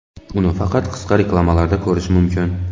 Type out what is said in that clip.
Uni faqat qisqa reklamalarda ko‘rish mumkin.